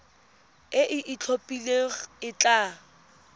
e e itlhophileng e tla